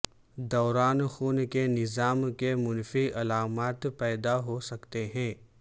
دوران خون کے نظام کے منفی علامات پیدا ہو سکتے ہیں